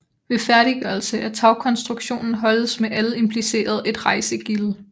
Ved færdiggørelse af tagkonstruktionen holdes med alle implicerede et rejsegilde